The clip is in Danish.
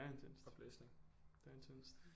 Det er intenst det er intenst